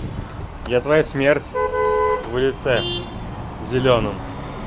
я твоя смерть в лице зелёном